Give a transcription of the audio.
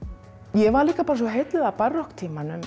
ég var líka svo heilluð af